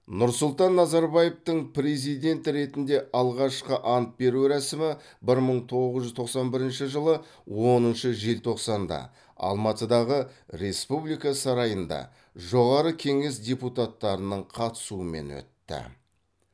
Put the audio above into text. нұрсұлтан назарбаевтың президент ретінде алғашқы ант беру рәсімі бір мың тогыз жүз тоқсан бірінші жылы оныншы желтоқсанда алматыдағы республика сарайында жоғары кеңес депутаттарының қатысуымен өтті